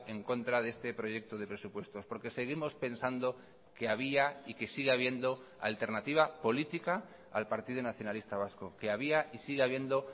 en contra de este proyecto de presupuestos porque seguimos pensando que había y que sigue habiendo alternativa política al partido nacionalista vasco que había y sigue habiendo